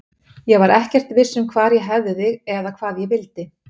Ég var ekkert viss um hvar ég hefði þig eða hvað ég vildi.